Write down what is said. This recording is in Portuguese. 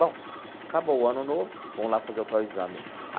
Bom, acabou o Ano Novo, vamos lá fazer o tal exame.